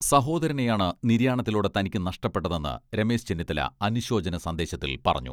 സഹോദരനെയാണ് നിര്യാണത്തിലൂടെ തനിക്ക് നഷ്ടപ്പെട്ടതെന്ന് രമേശ് ചെന്നിത്തല അനുശോചന സന്ദേശത്തിൽ പറഞ്ഞു.